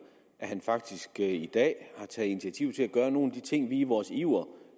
at han faktisk i dag har taget initiativ til at gøre nogle af de ting som vi i vores iver